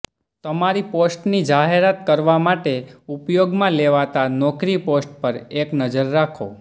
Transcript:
તમારી પોસ્ટની જાહેરાત કરવા માટે ઉપયોગમાં લેવાતા નોકરી પોસ્ટ પર એક નજર નાખો